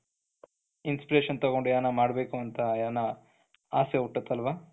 inspiration ತಗೊಂಡ್ ಏನನ ಮಾಡಬೇಕು ಅಂತ ಏನನ ಆಸೆ ಹುಟ್ಟುತ್ತೆ ಅಲ್ವಾ,